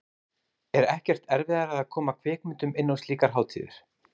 Er ekkert erfiðara að koma kvikmyndum inn á slíkar hátíðir?